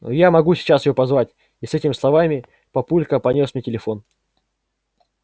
но я могу сейчас её позвать и с этими словами папулька понёс мне телефон